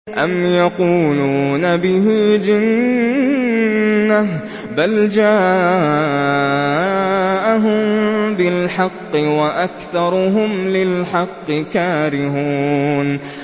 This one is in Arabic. أَمْ يَقُولُونَ بِهِ جِنَّةٌ ۚ بَلْ جَاءَهُم بِالْحَقِّ وَأَكْثَرُهُمْ لِلْحَقِّ كَارِهُونَ